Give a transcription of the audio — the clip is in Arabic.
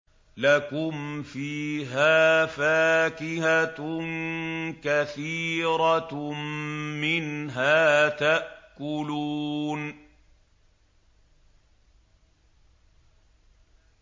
لَكُمْ فِيهَا فَاكِهَةٌ كَثِيرَةٌ مِّنْهَا تَأْكُلُونَ